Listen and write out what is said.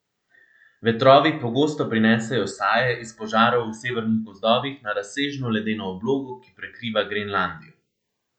Vetrovi pogosto prinesejo saje iz požarov v severnih gozdovih na razsežno ledeno oblogo, ki prekriva Grenlandijo.